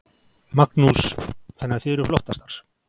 Magnús: Þannig að þið eruð flottastar?